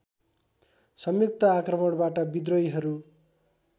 संयुक्त आक्रमणबाट विद्रोहीहरू